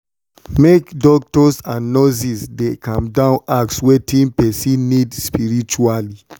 make doctors and nurses dey calm down ask question about wetin person need spritually.